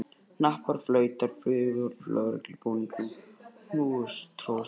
Hnappar og flautur flugu af lögreglubúningum og húfur tróðust undir.